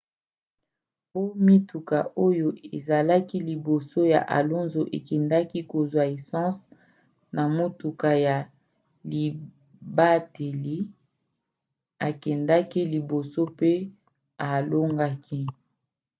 po mituka oyo ezalaki liboso ya alonso ekendaki kozwa essence na motuka ya libateli akendaki liboso pe alongaki